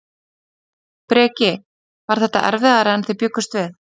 Breki: Var þetta erfiðara en þið bjuggust við?